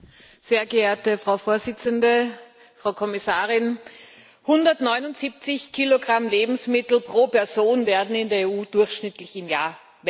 Frau Präsidentin, Frau Kommissarin! 179 Kilogramm Lebensmittel pro Person werden in der EU durchschnittlich im Jahr weggeworfen.